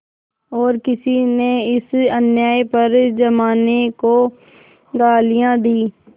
और किसी ने इस अन्याय पर जमाने को गालियाँ दीं